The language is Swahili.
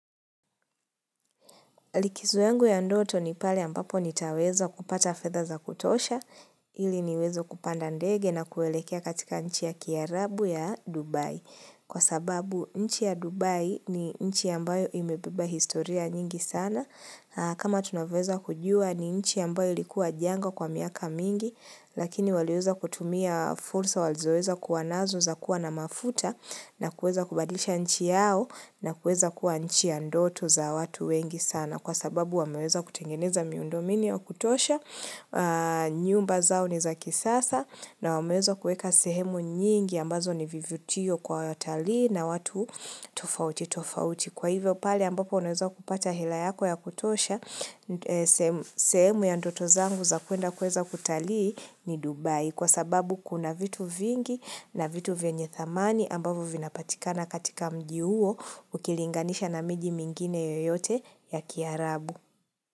Likizo yangu ya ndoto ni pale ambapo nitaweza kupata fedha za kutosha, ili niweze kupanda ndege na kuelekea katika nchi ya kiarabu ya Dubai. Kwa sababu, nchi ya Dubai ni nchi ambayo imebiba historia nyingi sana. Kama tunavyoweza kujua ni nchi ambayo ilikuwa janga kwa miaka mingi, lakini waliweza kutumia fursa walizoweza kuwa nazo za kuwa na mafuta na kuweza kubadisha nchi yao na kuweza kuwa nchi ya ndoto za watu wengi sana kwa sababu wameweza kutengeneza miundomini ya kutosha, nyumba zao ni za kisasa na wameweza kueka sehemu nyingi ambazo ni vivutio kwa watali na watu tofauti tofauti. Kwa hivyo pali ambapo unawezo kupata hela yako ya kutosha, sehemu ya ndoto zangu za kuenda kuweza kutalii ni Dubai kwa sababu kuna vitu vingi na vitu venye thamani ambapo vinapatikana katika mji huo ukilinganisha na miji mingine yeyote ya kiarabu.